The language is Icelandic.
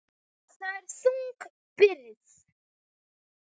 Það er þung byrði.